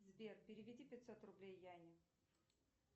сбер переведи пятьсот рублей яне